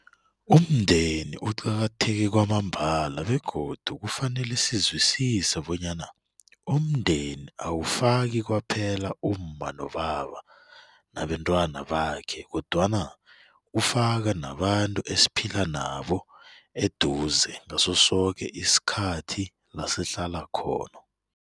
Umndeni uqakatheke kwambala begodu kufanele sizwisise bonyana umndeni awufaki kwaphela umma nobaba nabentwana bakhe kodwana ufaka nabantu esiphila nabo eduze ngaso soke isikhathi lasihlala khona.